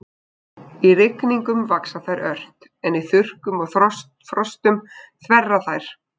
Í rigningum vaxa þær ört en í þurrkum og frostum þverra þær.